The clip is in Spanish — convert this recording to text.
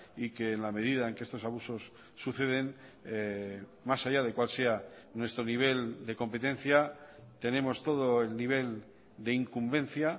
y que en la medida en que estos abusos suceden más allá de cuál sea nuestro nivel de competencia tenemos todo el nivel de incumbencia